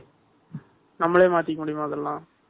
நம்மளே மாத்திக்க முடியுமா இதெல்லாம்?